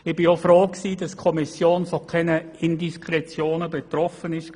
Ich war auch froh, dass die Kommission von keinerlei Indiskretionen betroffen war.